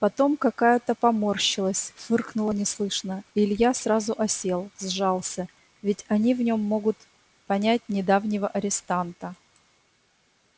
потом какая-то поморщилась фыркнула неслышно и илья сразу осел сжался ведь они в нём могут понять недавнего арестанта